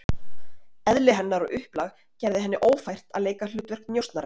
Eðli hennar og upplag gerði henni ófært að leika hlutverk njósnarans.